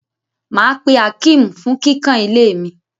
Mà á pe Akeem fún kíkàn ilé mi.